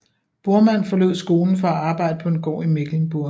Bormann forlod skolen for at arbejde på en gård i Mecklenburg